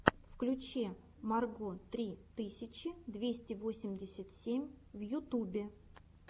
включи марго три тысячи двести восемьдесят семь в ютубе